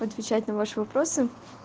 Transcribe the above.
отвечать на ваши вопросы